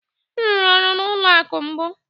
M rụrụ ọrụ n'ụlọ akụ̀ mbụ.